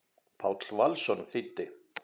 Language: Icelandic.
Páll Valsson þýddi.